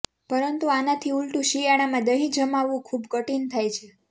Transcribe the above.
પરંતુ આનાથી ઉલટું શિયાળામાં દહીં જમાવવું ખુબ કઠિન થાય છે